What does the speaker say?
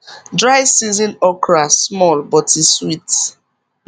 dry season okra small but e sweet